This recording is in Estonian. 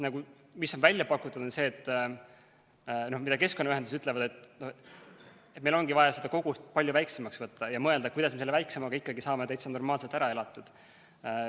Mis on välja pakutud ja mida keskkonnaühendused ütlevad, on see, et meil ongi vaja seda kogust palju väiksemaks võtta ja mõelda, kuidas me saaksime selle väiksema kogusega ikkagi täitsa normaalselt ära elatud.